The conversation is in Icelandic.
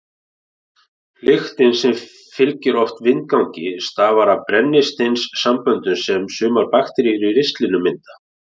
Lyktin sem fylgir oft vindgangi stafar af brennisteinssamböndum sem sumar bakteríur í ristlinum mynda.